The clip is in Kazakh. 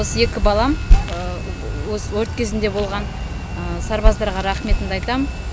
осы екі балам осы өрт кезінде болған сарбаздарға рақыметімді айтамын